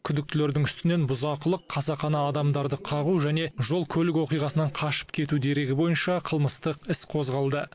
күдіктілердің үстінен бұзақылық қасақана адамдарды қағу және жол көлік оқиғасынан қашып кету дерегі бойынша қылмыстық іс қозғалды